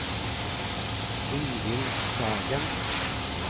Ingvild Sagen